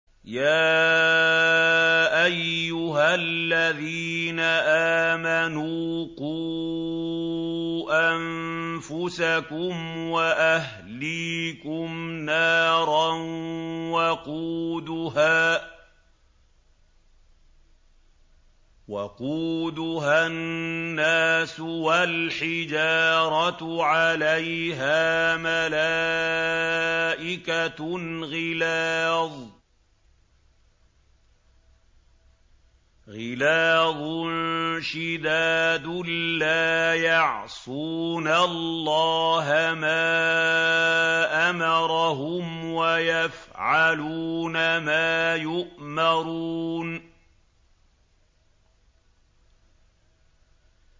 يَا أَيُّهَا الَّذِينَ آمَنُوا قُوا أَنفُسَكُمْ وَأَهْلِيكُمْ نَارًا وَقُودُهَا النَّاسُ وَالْحِجَارَةُ عَلَيْهَا مَلَائِكَةٌ غِلَاظٌ شِدَادٌ لَّا يَعْصُونَ اللَّهَ مَا أَمَرَهُمْ وَيَفْعَلُونَ مَا يُؤْمَرُونَ